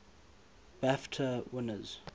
bafta winners